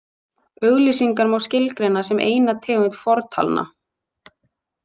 Auglýsingar má skilgreina sem eina tegund fortalna.